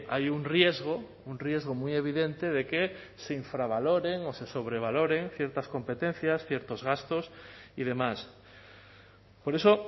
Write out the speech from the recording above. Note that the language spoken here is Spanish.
hay un riesgo un riesgo muy evidente de que se infravaloren o se sobrevaloren ciertas competencias ciertos gastos y demás por eso